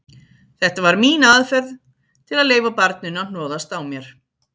Þetta var mín aðferð til að leyfa barninu að hnoðast á mér.